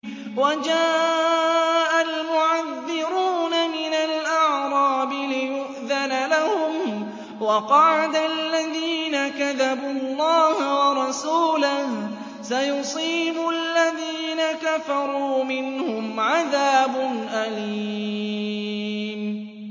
وَجَاءَ الْمُعَذِّرُونَ مِنَ الْأَعْرَابِ لِيُؤْذَنَ لَهُمْ وَقَعَدَ الَّذِينَ كَذَبُوا اللَّهَ وَرَسُولَهُ ۚ سَيُصِيبُ الَّذِينَ كَفَرُوا مِنْهُمْ عَذَابٌ أَلِيمٌ